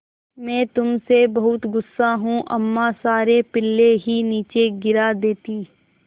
मैं तुम से बहुत गु़स्सा हूँ अम्मा सारे पिल्ले ही नीचे गिरा देतीं